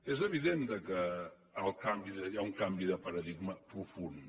és evident que hi ha un canvi de paradigma profund